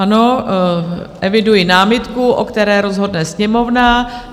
Ano, eviduji námitku, o které rozhodne Sněmovna.